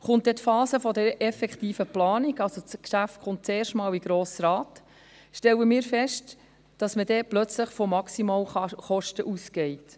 Kommt dann die Phase der effektiven Planung, also wenn das Geschäft zum ersten Mal in den Grossen Rat kommt, stellen wir fest, dass man dann plötzlich von Maximalkosten ausgeht.